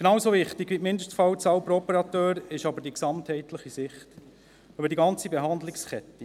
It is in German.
Genauso wichtig wie die Mindestzahl pro Operateur ist die gesamtheitliche Sicht über die ganze Behandlungskette.